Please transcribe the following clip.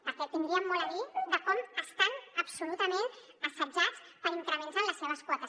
perquè tindríem molt a dir de com estan absolutament assetjats per increments en les seves quotes